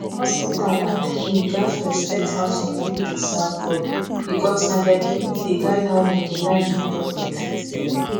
hospital and clinic gats respect how some people dey serve god because na their belief dey guide how dem go like make doctor treat dem